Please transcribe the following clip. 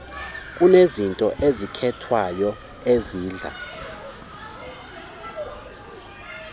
kunezinto ezikhethwayo ezidla